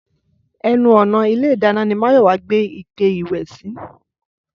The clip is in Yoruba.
Ẹnu ọ̀nà ilé ìdáná ni Máyọ̀wá gbé ike ìwẹ̀ sí